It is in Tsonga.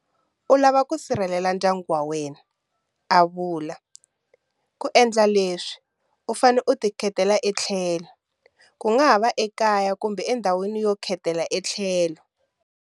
U lava ku sirhelela ndyangu wa wena, a vula. Ku endla leswi, u fanele u tikhetela etlhelo - kungava ekaya kumbe ndhawini yo khetela etlhelo.